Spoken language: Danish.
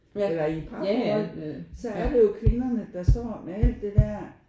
Eller i et parforhold så er det jo kvinderne der står med alt det der